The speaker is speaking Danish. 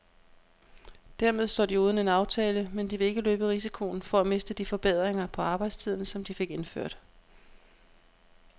Dermed står de uden en aftale, men de vil ikke løbe risikoen for at miste de forbedringer på arbejdstiden, som de fik indført.